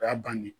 O y'a bannen